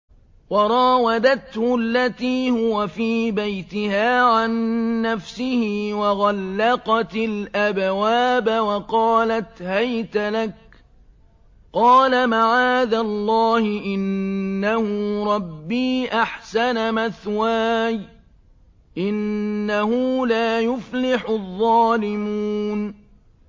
وَرَاوَدَتْهُ الَّتِي هُوَ فِي بَيْتِهَا عَن نَّفْسِهِ وَغَلَّقَتِ الْأَبْوَابَ وَقَالَتْ هَيْتَ لَكَ ۚ قَالَ مَعَاذَ اللَّهِ ۖ إِنَّهُ رَبِّي أَحْسَنَ مَثْوَايَ ۖ إِنَّهُ لَا يُفْلِحُ الظَّالِمُونَ